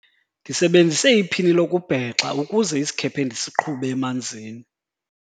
ndisebenzise iphini lokubhexa ukuze isikhephe ndisiqhube emanzini